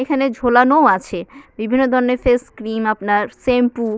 এখানে ঝোলানো আছে বিভিন্ন ধরনের ফেস ক্রিম আপনার শ্যাম্পু ।